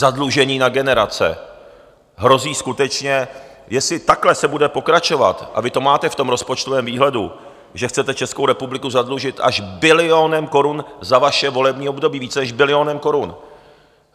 Zadlužení na generace hrozí skutečně, jestli takhle se bude pokračovat, a vy to máte v tom rozpočtovém výhledu, že chcete Českou republiku zadlužit až bilionem korun za vaše volební období, více než bilionem korun.